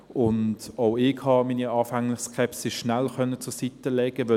Auch ich habe meine anfängliche Skepsis schnell beiseitelegen können.